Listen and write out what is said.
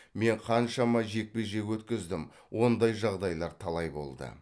мен қаншама жекпе жек өткіздім ондай жағдайлар талай болды